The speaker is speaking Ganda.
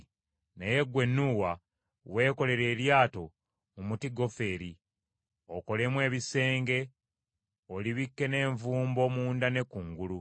Naye ggwe Nuuwa weekolere eryato mu muti gofeeri, okolemu ebisenge, olibikke n’envumbo munda ne kungulu.